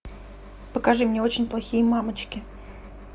покажи мне очень плохие мамочки